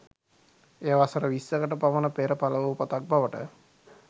එය වසර විස්සකට පමණ පෙර පළවූ පොතක් බවට